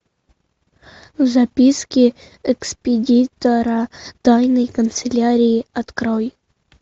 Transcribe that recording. записки экспедитора тайной канцелярии открой